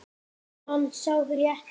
Er hann sá rétti?